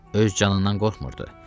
Öz canından qorxmurdur.